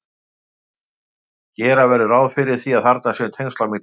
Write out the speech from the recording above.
gera verður ráð fyrir að þarna séu tengsl á milli